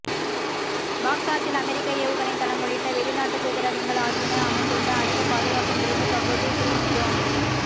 பாக்தாத்தில் அமெரிக்க ஏவுகணை தளம் உள்ளிட்ட வெளிநாட்டு தூதரகங்கள் ஆகியன அமைந்துள்ள அதிக பாதுகாப்பு நிறைந்த பகுதி க்ரீன் ஜோன்